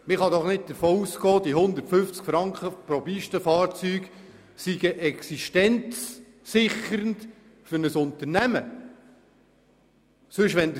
Man kann doch nicht davon ausgehen, diese 150 Franken pro Pistenfahrzeug seien für ein Unternehmen existenzsichernd.